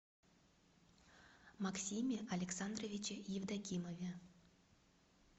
максиме александровиче евдокимове